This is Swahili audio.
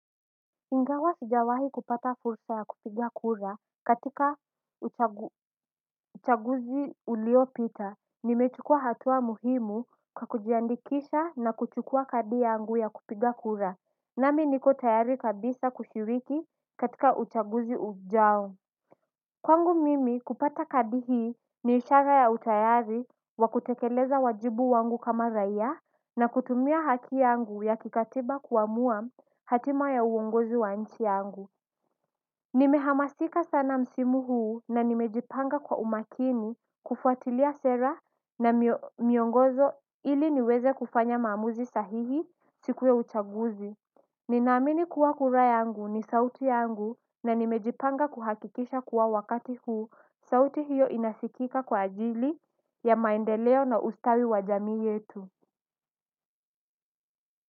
Ingawa sijawahi kupata fursa ya kupiga kura katika uchaguzi uliopita nimechukua hatua muhimu kwa kujiandikisha na kuchukua kadi yangu ya kupiga kura nami niko tayari kabisa kushiriki katika uchaguzi ujao kwangu mimi kupata kadi hii ni ishara ya utayari wakutekeleza wajibu wangu kama raiya na kutumia haki yangu ya kikatiba kuamua hatima ya uongozi wa nchi yangu. Nimehamasika sana msimu huu na nimejipanga kwa umakini kufuatilia sera na miongozo ili niweze kufanya maamuzi sahihi siku ya uchaguzi. Nina amini kuwa kura yangu ni sauti yangu na nimejipanga kuhakikisha kuwa wakati huu sauti hiyo inasikika kwa ajili ya maendeleo na ustawi wa jamii yetu.